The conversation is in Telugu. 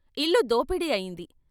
ఇల్లు దోపిడీ అయింది.